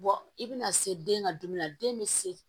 i bɛna se den ka dumuni na den bɛ se